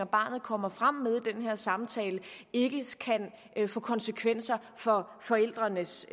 barnet kommer frem med i den her samtale ikke kan få konsekvenser for forældrenes